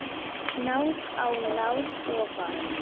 Náð á náð ofan